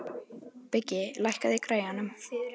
Biggi, lækkaðu í græjunum.